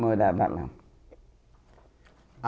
Morava lá.